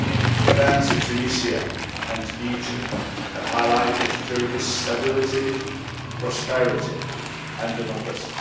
The events in Tunisia and Egypt have highlighted Turkey's stability, prosperity, and democracy.